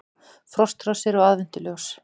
Frostrósir og aðventuljós